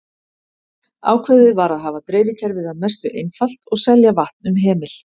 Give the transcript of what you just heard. Ákveðið var að hafa dreifikerfið að mestu einfalt og selja vatn um hemil.